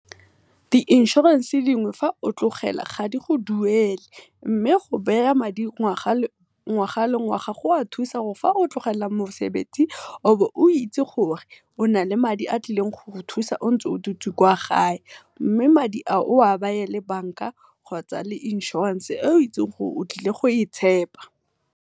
Di inshorense dingwe ga o tlogela ga di go duele, mme go madi ngwaga le ngwaga go a thusa gore fa o tlogela mosebetsi o bo o itsi gore o na le madi a tlileng go go thusa ntse o dutse kwa gae. Mme madi a o oa le bank-a kgotsa inshorense e o itsing gore o tlile go e tshepa.